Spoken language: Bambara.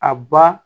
A ba